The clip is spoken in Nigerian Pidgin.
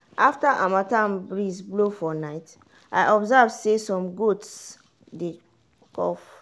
after harmattan breeze blow for night i observe say some goats dey cough.